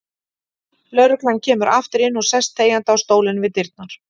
Lögreglan kemur aftur inn og sest þegjandi á stólinn við dyrnar.